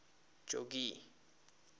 jogee